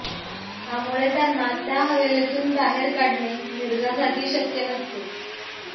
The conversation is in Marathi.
त्यामुळे त्यांना त्या हवेलीतून बाहेर काढणे मिर्झासाठी शक्य नसते